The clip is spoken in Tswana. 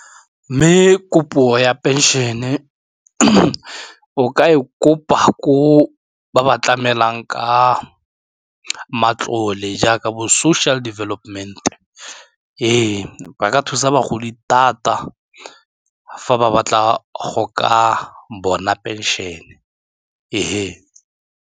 Mme kopo ya phenšene o ka e kopa ko ba ba tlamelang ka matlole jaaka bo-social development, ee, ba ka thusa bagodi thata fa ba batla go ka bona pension-e .